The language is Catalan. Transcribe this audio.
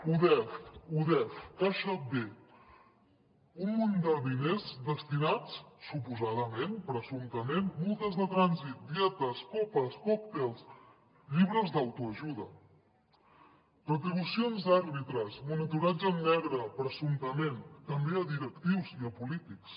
udef udef caixa b un munt de diners destinats suposadament presumptament a multes de trànsit dietes copes còctels llibres d’autoajuda retribucions d’àrbitres monitoratge en negre presumptament també a directius i a polítics